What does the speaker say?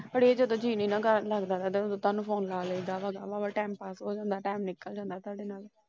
ਅੜੇਆ ਜਦੋ ਜੀ ਨਹੀਂ ਨਾ ਘਰ ਲੱਗਦਾ ਤੈਨੂੰ Phone ਲਾ ਲਾਇਦਾ। ਨਾਲੇ TimePass ਹੋ ਜਾਂਦਾ Time ਨਿਕਲ ਜਾਂਦਾ ।